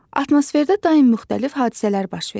Atmosferdə daim müxtəlif hadisələr baş verir.